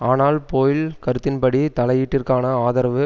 ஆனால் போய்ல் கருத்தின்படி தலையீட்டிற்கான ஆதரவு